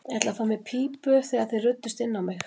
Ég ætlaði að fá mér í pípu þegar þið ruddust inn á mig.